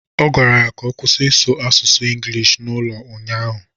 Ọ gwara ya ka ọ kwusi ị na-asụ inglish n'ụlọ ụnyaahụ!